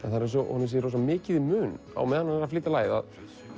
það er eins og honum sé mikið í mun á meðan hann er að flytja lagið að